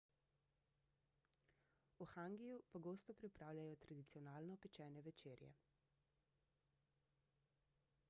v hangiju pogosto pripravljajo tradicionalno pečene večerje